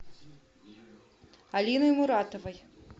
алиной муратовой